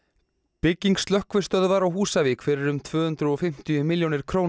bygging slökkvistöðvar á Húsavík fyrir um tvö hundruð og fimmtíu milljónir króna